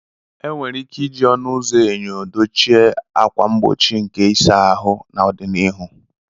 E nwere ike iji ọnụ ụzọ enyo dochie ákwà mgbochi nke ịsa ahụ n'ọdịnihu.